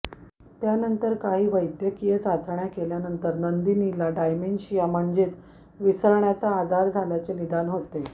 त्यानंतर काही वैद्यकीय चाचण्या केल्यानंतर नंदिनीला डायमेन्शिया म्हणजेच विसरण्याचा आजार झाल्याचे निदान होतो